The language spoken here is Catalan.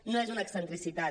no és una excentricitat